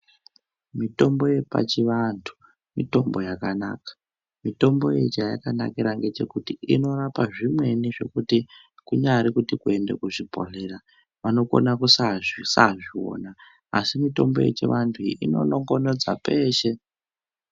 Mitombo yepachivantu mitombo yakanaka. Mitombo iyi chayakanakira ngechekuti inorapa zvimweni zvekuti kunyari kuti kuende kuzvibhedhlera vanokona kusazviwona asi mutombo yechivantu iyi ino nongonodza peshe.